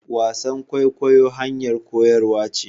wasan kwaikwayo hanyar koyarwa ce